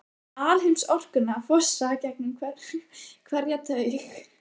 Finn alheimsorkuna fossa gegnum hverja taug.